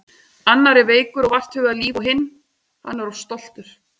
Annar er veikur og vart hugað líf og hinn. hann er of stoltur.